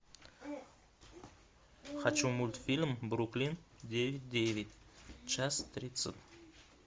хочу мультфильм бруклин девять девять час тридцать